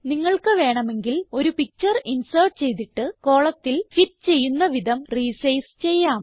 നിങ്ങൾക്ക് വേണമെങ്കിൽ ഒരു പിക്ചർ ഇൻസേർട്ട് ചെയ്തിട്ട് കോളം ഫിറ്റ് ചെയ്യുന്ന വിധം റിസൈസ് ചെയ്യാം